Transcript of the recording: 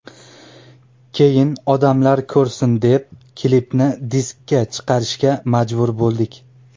Keyin odamlar ko‘rsin deb klipni diskka chiqarishga majbur bo‘ldik.